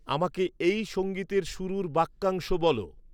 আমাকে এই সঙ্গীতের শুরুর বাক্যাংশ বলো